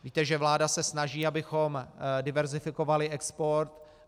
Víte, že vláda se snaží, abychom diverzifikovali export.